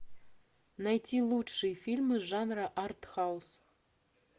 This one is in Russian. найти лучшие фильмы жанра артхаус